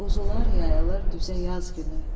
quzular yayılır düzə yaz günü.